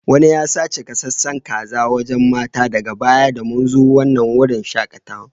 Wanni ya sace gasasen Kazan wacacan matan daga baya da mun zo wanan wurin shakatawan.